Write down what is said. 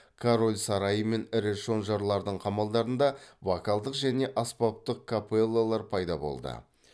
король сарайы мен ірі шонжарлардың қамалдарында вокалдық және аспаптық капеллалар пайда болды